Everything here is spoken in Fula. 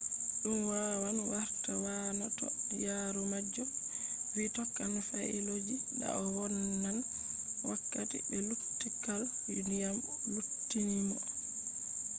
dum wawan warta waana toh yaarumajo vi tokkan faayeloji da o vonnan wakkati be luttukal dyam luttinimo